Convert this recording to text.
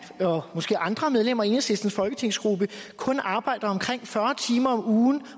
og måske andre medlemmer af enhedslistens folketingsgruppe kun arbejder omkring fyrre timer om ugen